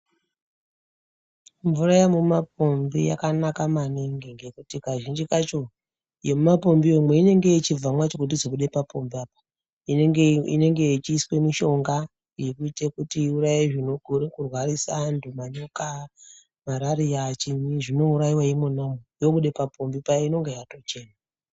Mvura yemumapombi yakanaka maningi ngekuti kazhinji kacho yemumapombiyo inenge yechibva macho padhuze kubude papombi apa. Inenge ichiiswe mishonga yekuite kuti iuraye zvinokone kurwarisa antu manyoka, marariya chinyi zvinouraiva imona umu yobude papombi paya inenge yatochena.